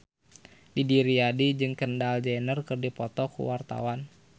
Didi Riyadi jeung Kendall Jenner keur dipoto ku wartawan